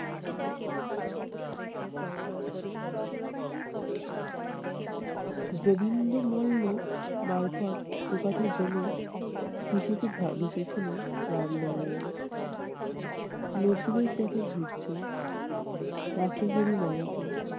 গোবিন্দমল্ল মারফৎ একথা জেনে খুশিতে ভা~ ভেসে ছিল রামনারায়ণ। নসীবের চাকা ঘুরছে রাখে হরি মারে কে?